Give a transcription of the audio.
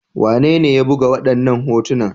Wanene ya buga waɗannan hotuna?